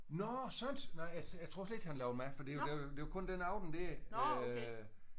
Nåh sådant! Nej altså jeg tror slet ikke han lavede mad for det det det var kun den aften der øh